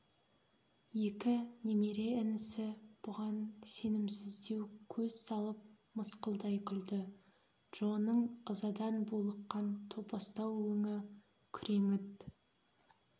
екі немере інісі бұған сенімсіздеу көз салып мысқылдай күлді джоның ызадан булыққан топастау өңі күреңіт